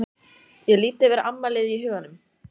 Ég lít yfir afmælið í huganum.